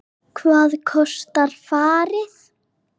Hvað kostar farið?